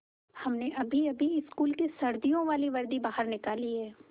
हमने अभीअभी स्कूल की सर्दियों वाली वर्दी बाहर निकाली है